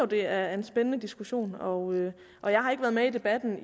det er en spændende diskussion og og jeg har ikke været med i debatten